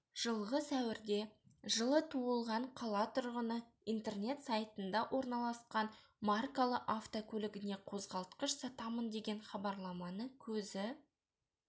жылғы сәуірде жылы туылған қала тұрғыны интернет сайтында орналасқан маркалы автокөлігіне қозғалтқыш сатамын деген хабарламаны көзі